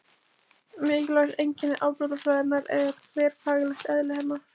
Mikilvægt einkenni afbrotafræðinnar er þverfaglegt eðli hennar.